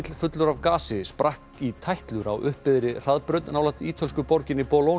fullur af gasi sprakk í tætlur á hraðbraut nálægt ítölsku borginni